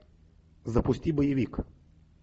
запусти боевик